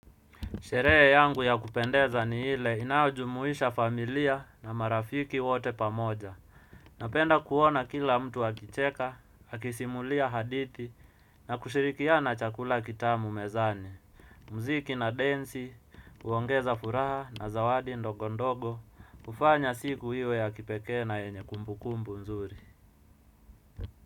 Sherehe yangu ya kupendeza ni ile inayojumuisha familia na marafiki wote pamoja. Napenda kuona kila mtu akicheka, akisimulia hadithi na kushirikiana chakula kitamu mezani. Muziki na densi, huongeza furaha na zawadi ndogondogo, kufanya siku iwe ya kipekee na yenye kumbukumbu nzuri.